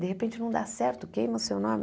De repente não dá certo, queima o seu nome.